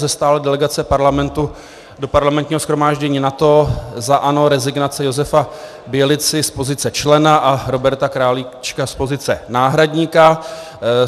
Ze stálé delegace Parlamentu do Parlamentního shromáždění NATO za ANO rezignace Josefa Bělici z pozice člena a Roberta Králíčka z pozice náhradníka.